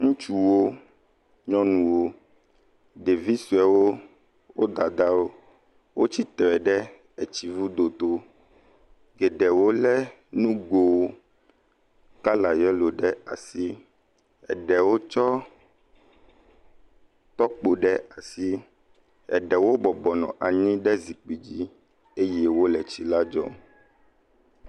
Ŋutsuwo, nyɔnuwo, ɖevi suewɔo, wo dadawo. Wotsitre ɖe etsi ŋudo to ye ɖewo le nugo kala yelo ɖe asi, eɖewo tsɔ tɔkpo ɖe asi, eɖewo bɔbɔnɔ anyi ɖ zipkui dzi eye wo le tsi la dzem.